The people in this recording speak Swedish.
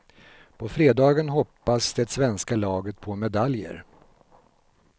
På fredagen hoppas det svenska laget på medaljer.